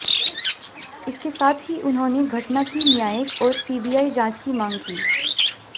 इसके साथ ही उन्होंने घटना की न्यायिक और सीबीआई जांच की मांग की